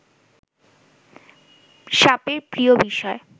সাপের প্রিয় বিষয়